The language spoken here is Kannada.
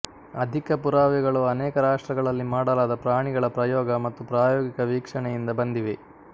ಅಧಿಕ ಪುರಾವೆಗಳು ಅನೇಕ ರಾಷ್ಟ್ರಗಳಲ್ಲಿ ಮಾಡಲಾದ ಪ್ರಾಣಿಗಳ ಪ್ರಯೋಗ ಮತ್ತು ಪ್ರಾಯೋಗಿಕ ವೀಕ್ಷಣೆಯಿಂದ ಬಂದಿವೆ